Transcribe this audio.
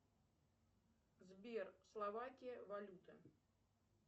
сбер словакия валюта